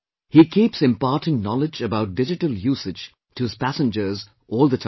He keeps imparting knowledge about digital usage to his passengers all the time